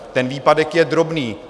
Ten výpadek je drobný.